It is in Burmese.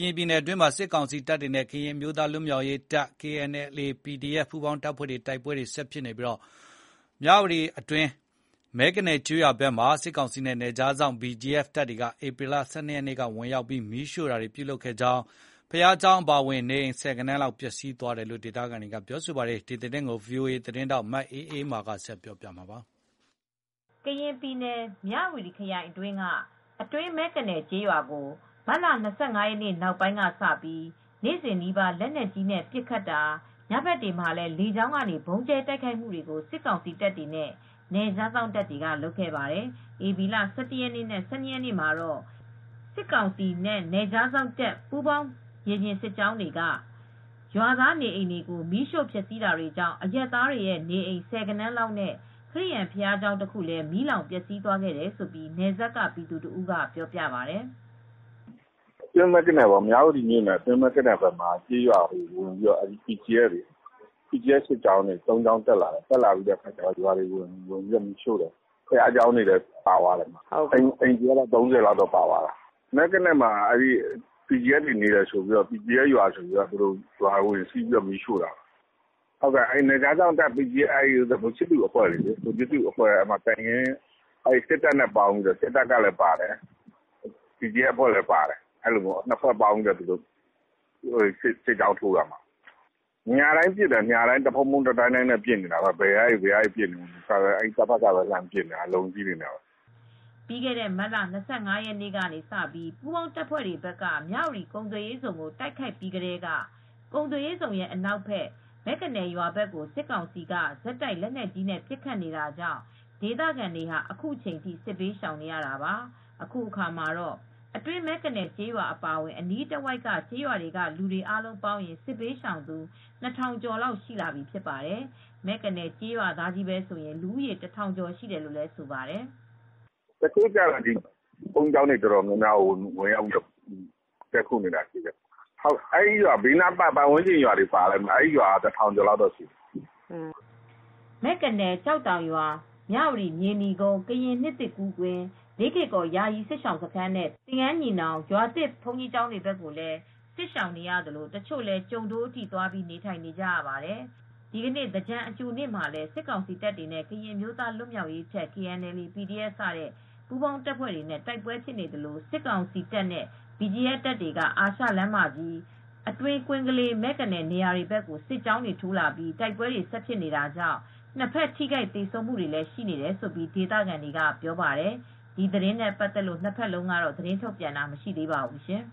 ရင်ပြည်နယ်အတွင်းမှာ စစ်ကောင်စီတပ်တွေနဲ့ ကရင်အမျိုးသားလွတ်မြောက်ရေးတပ် KNLA/PDF စတဲ့ ပူးပေါင်းတပ်ဖွဲတွေ တိုက်ပွဲ ဆက်ဖြစ်နေပြီး မြဝတီ၊ အတွင်းမဲကနယ် ကျေးရွာဘက်မှာ စစ်ကောင်စီနဲ့ နယ်ခြားစောင့် BGF တပ်များ ဧပြီလ ၁၂ရက်နေ့က ဝင်ရောက် မီးရှို့မှုပြုလုပ်တာကြောင့် ဘုရားကျောင်းအပါအဝင် နေအိမ်ဆယ်ဂဏန်းလောက်ပျက်စီးသွားပါတယ် ။ ဒီသတင်းကို ဗွီအိုအေသတင်းထောက် မအေးအေးမာက သတင်းပေးပို့ ထားပါတယ်။ ကရင်ပြည်နယ် မြဝတီခရိုင်အတွင်းက အတွင်းမဲကနယ် ကျေးရွာကို မတ်လ ၂၅ ရက်နေ့ နောက်ပိုင်းကစပြီး နေ့စဉ်နီးပါး လက်နက်ကြီးနဲ့ပစ်ခတ် ၊ ညဘက်တွေမှာလေ ကြောင်းကနေ ဗုံးကြဲတိုက်ခိုက်မှုတွေကို စစ်ကောင်စီတပ်တွေနဲ့ နယ်ခြားစောင့်တွေက လုပ်ခဲ့ပါတယ်၊ ဧပြီလ ၁၁ ရက်နှင့် ၁၂ ရက်နေ့တွေမှာတော့ စစ်ကောင်စီ၊ နယ်ခြားစောင့်တပ်-BGF ပူးပေါင်း မြေပြင်စစ်ကြောင်းတွေက ရွာသားနေအိမ်တွေကို မီးရှို့ဖျက်ဆီး တာတွေကြောင့် အရပ်သားတွေရဲ့ နေအိမ် ဆယ်ဂဏန်းလောက်နဲ့ ခရစ်ယာန်ဘုရားကျောင်း တခုလည်း မီးလောင်ပျက်စီးသွားခဲ့တယ်လို့ နယ်စပ် ပြည်သူတဦးက ပြောပြပါတယ်။ " မြဝတီမြို့နယ် အတွင်းမဲ့ကနယ် ဖက်မှာ ကျေးရွာတွေဝင်ပြီး BGF စစ်ကြောင်းတွေ ၃ကြောင်းလောက်ဝင်ပြီးမီးတွေရှို့သွားတယ်၊ ဘုရားကျောင်းတွေလည်း ပါသွားတယ် အိမ်ခြေကတော့ ၃၀ လောက်ပါသွားတယ်၊ မဲ့ကနယ်မှာက PDF တွေနေတယ် အဲဒီမှာ အခြေချတယ်ဆိုပြီး ရွာတွေကို ဝင်စီးပြီး မီးရှို့နေတာပဲ ၊ နယ်ခြားစောင့်တပ် ဗိုလ်ချစ်သူအဖွဲ့တွေနဲ့ စစ်တပ်ကလည်းပါတယ်။ နှစ်ဖွဲ့ပေါင်းပြီး စစ်ကြောင်းထိုးတာပဲ။ ညတိုင်းလည်း ပစ်နေတာပဲ ၊ ဘယ်ကနေ ပစ်နေလဲမသိဘူး၊ စကစပဲ လှမ်းပစ်နေတယ် ၊ အလုံးကြီးတွေပဲ။ " ပြီးခဲ့တဲ့ မတ်လ၂၅ရက်နေ့က ပူးပေါင်းတပ်ဖွဲ့တွေဘက်က မြဝတီ ကုန်သွယ်ရေးဇုန်ကို တိုက်ခိုက်ပြီးကတည်းက ကုန်သွယ်ရေးဇုန် အနောက်ဖက် မဲ့ကနယ်ရွာဘက်ကို စစ်ကောင်စီက ဆက်တိုက် လက်နက်ကြီးနဲ့ ပစ်ခတ်နေတာကြောင့် ဒေသခံတွေဟာ အခုချိန်ထိ စစ်ဘေးရှောင်နေ ရတာပါ။ အခုအခါမှာတော့ အတွင်းမဲ့ကနယ်ကျေးရွာအပါအဝင် အနီးတဝိုက်က ကျေးရွာတွေက လူတွေ အားလုံးပေါင်းရင် စစ်ဘေးရှောင်သူ ၂၀၀၀ ကျော်လောက် ရှိလာပြီဖြစ်ပါတယ်။ မဲကနယ် ကျေးရွာသားတွေချည်းပဲဆိုရင် လူဦးရေ တထောင်ကျော် ရှိတယ်လို့လည်းဆိုပါတယ်။ " တချို့ကျတော့ ဘုန်းကြီးကျောင်းတွေ အတော်များများကို ဝင်ရောက်တည်းခို နေတာရှိတယ်၊ ပတ်ဝန်းကျင်ရွာတွေရှိတယ် အဲဒီရွာတွေက လူတွေပဲ တထောင်ကျော်ရှိတယ် ။" မဲကနယ် ကျောက်တောင်ရွာ၊ မြဝတီမြေနီကုန်း ကရင်နှစ်သစ်ကူး ကွင်း၊ လေးကေကော် ယာယီစစ်ရှောင်စခန်းနဲ့ သင်္ဃန်းညီနောင် ရွာသစ်ဘုန်းကြီးကျောင်းတွေဖက်ကိုလည်း စစ်ဘေးရှောင်နေရသလို တချို့လည်း ကျိုဒိုးဘက်ထိ သွားပြီး နေထိုင်နေကြရပါတယ်၊ သင်္ကြန်ကာလ အကြိုနေ့ မှာလည်း စစ်ကောင်စီတပ်တွေနဲ့ ကရင်အမျိုးသားလွတ်မြောက်ရေးတပ် KNLA ၊ PDF စတဲ့ ပူးပေါင်းတပ်ဖွဲ့တွေ တိုက်ပွဲဖြစ်နေသလို စစ်ကောင်စီတပ်၊ BGF တပ်များက အာရှလမ်းမကြီး အတွင်းကွင်းကလေး မဲကနယ် နေရာတွေဘက်ကို စစ်ကြောင်းတွေ ထိုးလာပြီး တိုက်ပွဲတွေဆက်ဖြစ်နေတာကြောင့် နှစ်ဖက် ထိခိုက်သေဆုံးမူတွေလည်း ရှိတယ်လို့ ဒေသခံတွေက ပြောပါတယ်။ ဒီသတင်းနဲ့ပတ်သက်လို့ နှစ်ဖက်လုံးကတော့ သတင်းထုတ်ပြန်တာ မရှိသေးပါဘူးရှင်